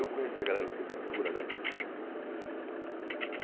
Eu conheci a galera do Sepultura, né?